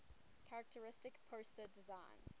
characteristic poster designs